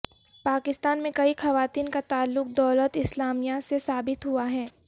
پاکستان میں کئی خواتین کا تعلق دولت اسلامیہ سے ثابت ہوا ہے